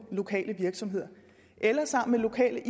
lokale virksomheder eller sammen med lokale